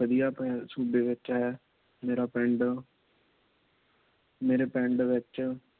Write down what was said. ਵਧੀਆ ਸੂਬੇ ਵਿੱਚ ਹੈ। ਮੇਰਾ ਪਿੰਡ ਮੇਰੇ ਪਿੰਡ ਵਿੱਚ